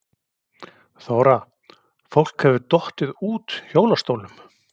Þóra: Fólk hefur dottið út hjólastólum?